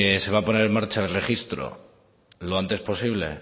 se va a poner en marcha el registro lo antes posible